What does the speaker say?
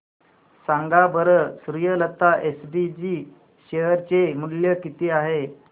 सांगा बरं Suryalata SPG share चे मूल्य किती आहे